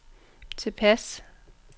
tilpas